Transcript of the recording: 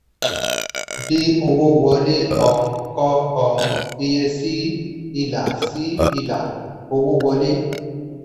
bí owó wọlé um kọ um iye sí ilà sí ilà owó wọlé.